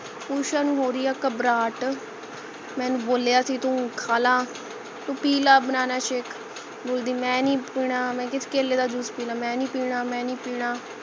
ਊਸ਼ਾ ਨੂੰ ਹੋਰੀ ਹੈ ਘਬਰਾਹਟ ਮੈਂ ਇਹਨੂੰ ਬੋਲਿਆ ਸੀ ਤੂੰ ਖਾਲਾ ਤੂੰ ਪੀਲਾ banana shake ਬੋਲਦੀ ਮੈਂ ਨਹੀਂ ਪੀਨਾ ਮੈਂ ਕਿਹਾ ਕੇਲਾ ਦਾ ਜੂਸ ਪੀ ਲਾ ਮੈਂ ਨਹੀਂ ਪੀਨਾ ਮੈਂ ਨਹੀਂ ਪੀਨਾ